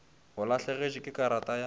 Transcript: o lahlegetšwe ke karata ya